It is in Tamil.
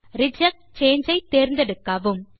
ரிஜெக்ட் சாங்கே ஐ தேர்ந்தெடுக்கவும்